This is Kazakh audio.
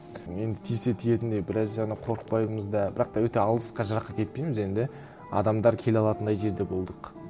енді тисе тиетіндей біраз жағынан қорықпаймыз да бірақ та өте алысқа жыраққа кетпейміз енді адамдар келе алатындай жерде болдық